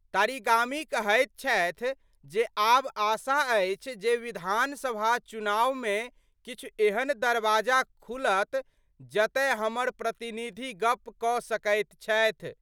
तारिगामी कहैत छथि जे आब आशा अछि जे विधानसभा चुनाव मे किछु एहन दरवाजा खुलत जतय हमर प्रतिनिधि गप क सकैत छथि।